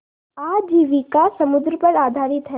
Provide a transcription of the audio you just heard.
आजीविका समुद्र पर आधारित है